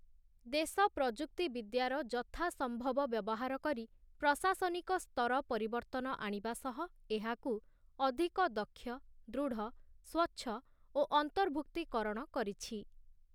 ଦେଶ ପ୍ରଯୁକ୍ତି ବିଦ୍ୟାର ଯଥା ସମ୍ଭବ ବ୍ୟବହାର କରି ପ୍ରଶାସନିକ ସ୍ତର ପରିବର୍ତ୍ତନ ଆଣିବା ସହ ଏହାକୁା ଅଧିକ ଦକ୍ଷ, ଦୃଢ, ସ୍ୱଚ୍ଛ ଓ ଅନ୍ତର୍ଭୁକ୍ତୀକରଣ କରିଛି ।